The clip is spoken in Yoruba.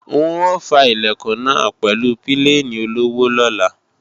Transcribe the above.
N ò fá Ilẹ̀kùn náà pẹ̀lú pílènì olọ́wọ́ lọ́la